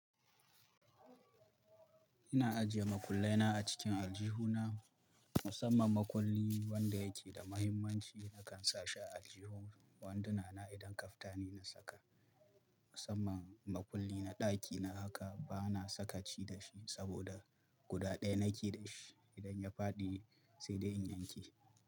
Ina ajiye makullai na a cikin aljihuna. Musamman makulli wanda yake da mahimmanci nakan sa shi a aljihun wanduna na idan kaftani na saka. Musamman makulli na ɗaki, na haka ba na sakaci da shi saboda guda ɗaya nake da shi. Idan ya faɗi sai dai in yanke.